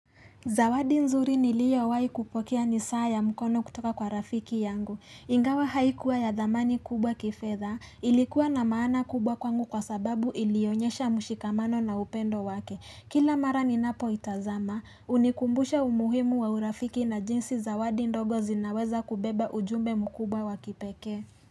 Zawadi nzuri nilio wai kupokea ni saa ya mkono kutoka kwa rafiki yangu. Ingawa haikuwa ya dhamani kubwa kifedha, ilikuwa na maana kubwa kwangu kwa sababu ilionyesha mshikamano na upendo wake, kila mara ninapoitazama, hunikumbusha umuhimu wa urafiki na jinsi zawadi ndogo zinaweza kubeba ujumbe mkubwa wa kipekee.